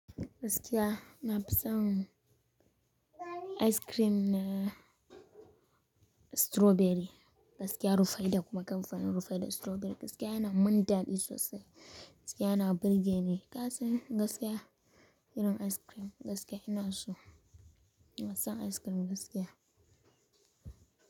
Gaskiya na fi son ice cream na strawberry, gaskiya rufaida da kuma kamfanin rufe da strawberry gaskiya yana mun daɗi sosai, gaskiya yana burge ni. Ka san gaskiya irin ice cream gaskiya ina so, ina son ice cream gaskiya.